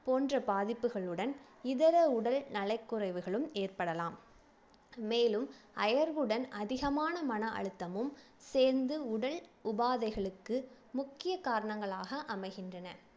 போன்ற பாதிப்புகளுடன் இதர உடல் நலக்குறைவுகளும் ஏற்படலாம் மேலும் அயர்வுடன் அதிகமான மன அழுத்தமும் சேர்ந்து உடல் உபாதைகளுக்கு முக்கிய காரணங்களாக அமைகின்றன